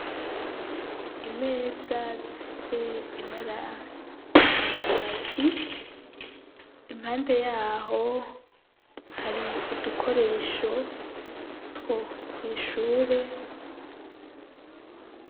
Imeza zifise ibara rya kaki, impande yaho hari udukoresho two kw'ishure.